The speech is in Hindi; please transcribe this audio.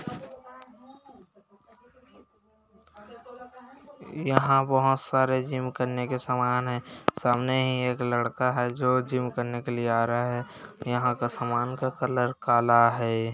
यहाँ वहां सारे जिम करने के सामान हैं सामने ही एक लड़का है जो जिम करने के लिए आ रहा है यहा का सामान का कलर काला है।